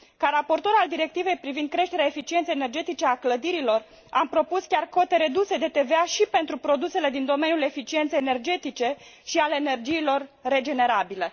Ca raportor al Directivei privind creșterea eficienței energetice a clădirilor, am propus chiar cote reduse de TVA și pentru produsele din domeniul eficienței energetice și al energiilor regenerabile.